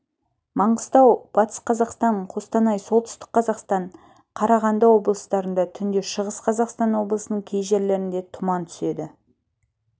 маңғыстау батыс қазақстан қостанай солтүстік қазақстан қарағанды облыстарында түнде шығыс қазақстан облысының кей жерлерінде тұман түседі